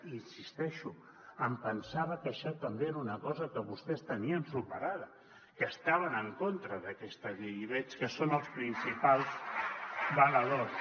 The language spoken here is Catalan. hi insisteixo em pensava que això també era una cosa que vostès tenien superada que estaven en contra d’aquesta llei i veig que en són els principals valedors